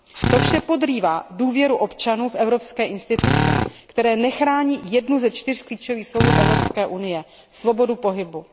To vše podrývá důvěru občanů v evropské instituce, které nechrání jednu ze čtyř klíčových svobod Evropské unie, svobodu pohybu.